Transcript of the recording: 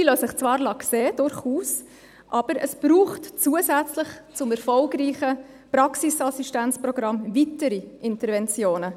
Diese lassen sich zwar durchaus sehen, aber es braucht zusätzlich zum erfolgreichen Praxisassistenzprogramm weitere Interventionen.